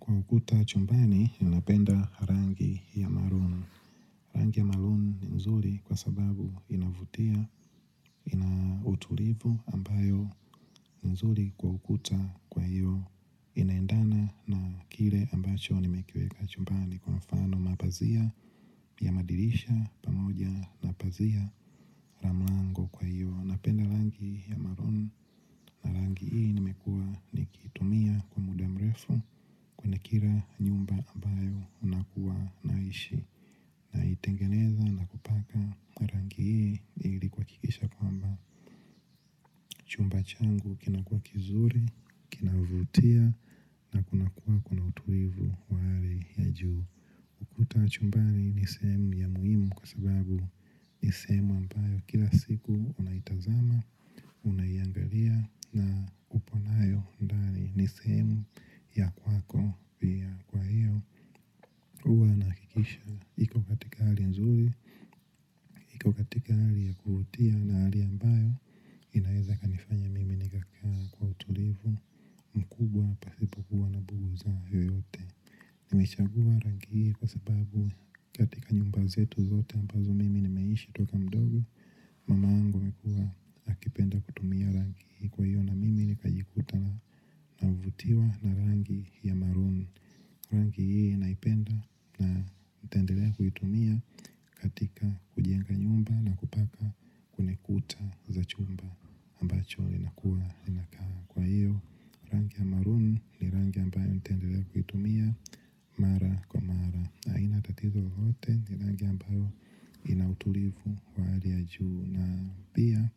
Kwa ukuta chumbani, ninapenda rangi ya maroon. Rangi ya maroon ni nzuri kwa sababu inavutia, ina utulivu ambayo ni nzuri kwa ukuta kwa hiyo. Inaendana na kile ambacho nimekieweka chumbani kwa mfano mapazia pia madirisha pamoja na pazia la mlango kwa hiyo. Napenda rangi ya marooni, rangi hii nimekuwa nikitumia kwa muda mrefu kwenye kila nyumba ambayo nakuwa naishi. Naitengeneza na kupaka kwa rangi hii ili kuhakikisha kwamba chumba changu kinakuwa kizuri, kinavutia na kunakuwa kuna utulivu wa hali ya juu. Ukuta wa chumbani ni sehemu ya muhimu kwa sababu ni sehemu ambayo kila siku unaitazama, unaiangalia na upo nayo ndani ni sehemu ya kwako pia kwa hiyo huwa nahakikisha iko katika hali nzuri, iko katika hali ya kuvutia na hali ambayo inaweza ikanifanya mimi nikakaa kwa utulivu mkubwa pahali hapa nimechagua rangi hii kwa sababu katika nyumba zetu zote ambazo mimi nimeishi toka mdogo Mamango amekuwa akipenda kutumia rangi hii kwa hiyo na mimi nikajikuta navutiwa na rangi ya maruni. Rangi hii naipenda na nitendelea kuitumia katika kujenga nyumba na kupaka kwenye kuta za chumba ambacho inakuwa inakaa. Kwa hiyo rangi ya maruni ni rangi ambayo nitendelea kuitumia mara kwa mara. Na haina tatizo lolote ni rangi ambayo ina utulivu wa hali ya juu na pia.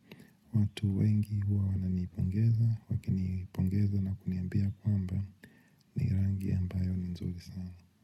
Watu wengi huwa wananipongeza, wakinipongeza na kuniambia kwamba ni rangi ambayo ni nzuri sana.